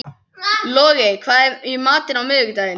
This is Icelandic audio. Logey, hvað er í matinn á miðvikudaginn?